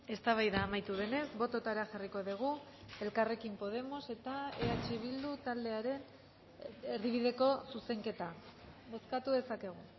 eztabaida amaitu denez botoetara jarriko dugu elkarrekin podemos eta eh bildu taldearen erdibideko zuzenketa bozkatu dezakegu